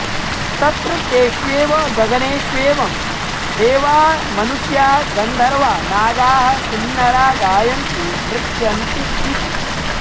तत्र तेष्वेव गगनेश्वेवं देवा मनुष्या गन्धर्वा नागाः किंनरा गायन्ति नृत्यन्तीति